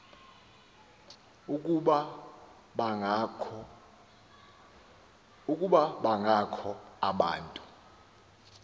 ukuba bangakho abantu